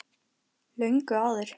Löngu áður.